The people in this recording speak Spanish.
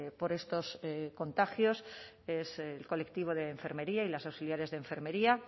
por estos contagios es el colectivo de enfermería y las auxiliares de enfermería